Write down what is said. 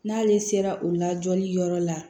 N'ale sera o la jɔli yɔrɔ la